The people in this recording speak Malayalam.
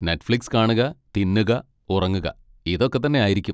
നെറ്റ്ഫ്ലിക്സ് കാണുക, തിന്നുക, ഉറങ്ങുക, ഇതൊക്കെ തന്നെ ആയിരിക്കും.